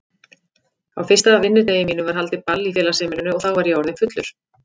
Á fyrsta vinnudegi mínum var haldið ball í félagsheimilinu og þá var ég orðinn fullur.